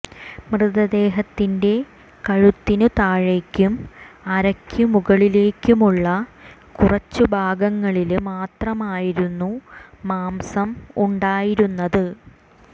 മൃതദേഹത്തിന്റെ കഴുത്തിനു താഴേയ്ക്കും അരയ്ക്കു മുകളിലേക്കുമുള്ള കുറച്ചു ഭാഗങ്ങളില് മാത്രമായിരുന്നു മാംസം ഉണ്ടായിരുന്നത്